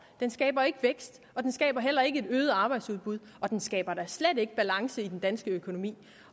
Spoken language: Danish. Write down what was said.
den skaber ikke vækst og den skaber heller ikke et øget arbejdsudbud og den skaber da slet ikke balance i den danske økonomi